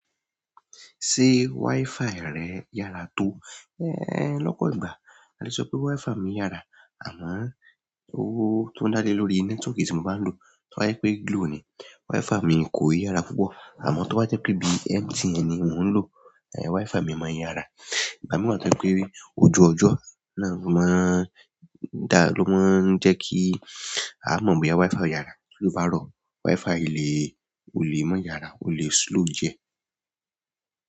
Ṣé WiFi rẹ yára tó? Éh, lọ́pọ̀ ìgbà a lè sọ pé WiFi mi yára àmọ́ ó tun dá lé lórí network tí mo bá ń lò. Tí o bá je wípé Glo ni, WiFi mi kò ni yára púpọ̀ àmọ́ tí ọ́ bá jẹ́ pé bíi MTN ni mò ń lò, WiFi mi máa m yára. Ìgbà mìíràn tàbí pé ojú ọjọ́ náà ló máa ń dá ló máa ń jẹ́ kí a mọ̀ bóyá WiFi ó yára. Tí ójo bá rọ̀, WiFi lè, ò lè máa yára, ó lè slow jẹ.